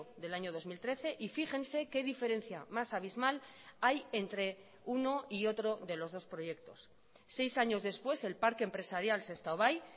del año dos mil trece y fíjense qué diferencia más abismal hay entre uno y otro de los dos proyectos seis años después el parque empresarial sestao bai